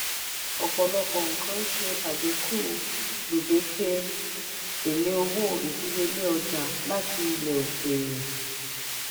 ọpọlọpọ nkán ṣe adínkú gbedeke ele owó ìdíyelé ọjà láti ilẹ òkèèrè.